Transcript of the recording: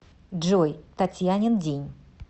джой татьянин день